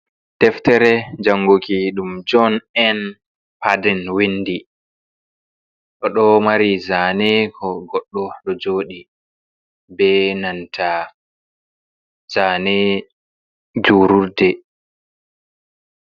Deftere janguki ɗum joh n en paden windi, oɗo mari zane ko goɗɗo ɗo jodiy be nanta zane julurde.